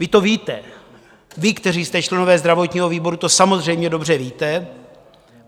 Vy to víte, vy, kteří jste členy zdravotního výboru, to samozřejmě dobře víte.